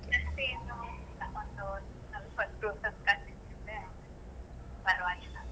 ಮತ್ತೆ ಏನು ಇಲ್ಲ, ಒಂದು ಸ್ವಲ್ಪ ಹೊತ್ತು ಆಯ್ತು ಪರ್ವಾಗಿಲ್ಲ.